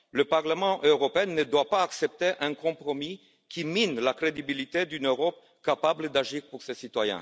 Le Parlement européen ne doit pas accepter un compromis qui mine la crédibilité d'une Europe capable d'agir pour ses citoyens.